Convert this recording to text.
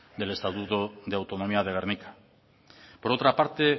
del estatuto de autonomía de gernika por otra parte